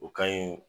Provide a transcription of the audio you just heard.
O ka ɲi